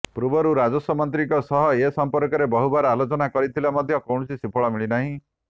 ପୂର୍ବରୁ ରାଜସ୍ୱ ମନ୍ତ୍ରୀଙ୍କ ସହ ଏ ସମ୍ପର୍କରେ ବହୁବାର ଆଲୋଚନା କରିଥିଲେ ମଧ୍ୟ କୌଣସି ସୁଫଳ ମିଳିନାହିଁ